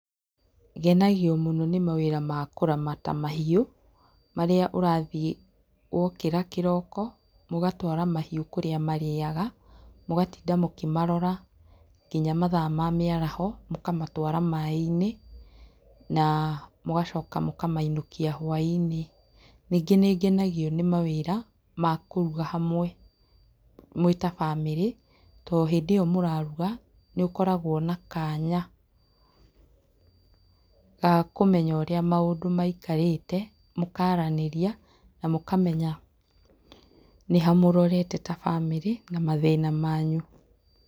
Ngenagio mũno nĩ mawĩra makũramata mahiũ, marĩa ũrathiĩ wokĩra kĩroko, mũgatwara mahiũ kũrĩa marĩaga, mũgatinda mũkĩmarora nginya mathaa ma mĩaraho, mũkamatwara maaĩ-inĩ, na mũgacoka mũkamainũkia hwaĩ-inĩ. Ningĩ nĩ ngenagio nĩ mawĩra ma kũruga hamwe, mwĩ ta bamĩrĩ to hĩndĩ ĩyo mũraruga, nĩ ũkoragwo na kanya ga kũmenya ũrĩa maũndũ maikarĩte, mũkaaranĩria na mũkamenya nĩ ha mũrorete ta bamĩrĩ na mathĩna manyu.